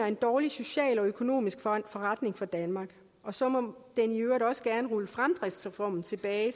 en dårlig social og økonomisk forretning for danmark og så må den i øvrigt også gerne rulle fremdriftsreformen tilbage